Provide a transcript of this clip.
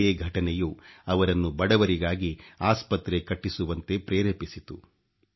ಇದೇ ಘಟನೆಯು ಅವರನ್ನು ಬಡವರಿಗಾಗಿ ಆಸ್ಪತ್ರೆ ಕಟ್ಟಿಸುವಂತೆ ಪ್ರೇರೇಪಿಸಿತು